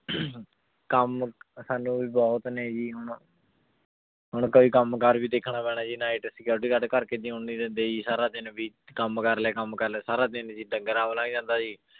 ਕੰਮ ਸਾਨੂੰ ਵੀ ਬਹੁਤ ਨੇ ਜੀ ਹੁਣ ਹੁਣ ਕੋਈ ਕੰਮ ਕਾਰ ਵੀ ਦੇਖਣਾ ਪੈਣਾ ਜੀ night security guard ਘਰ ਕੇ ਜਿਉਣ ਨੀ ਦਿੰਦੇ ਜੀ, ਸਾਰਾ ਦਿਨ ਵੀ ਕੰਮ ਕਰ ਲੈ ਕੰਮ ਕਰ ਲੈ ਸਾਰਾ ਦਿਨ ਜੀ ਡੰਗਰਾਂ ਲੰਘ ਜਾਂਦਾ ਜੀ।